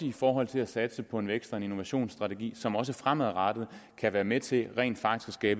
i forhold til at satse på en væksts og innovationsstrategi som også fremadrettet kan være med til rent faktisk at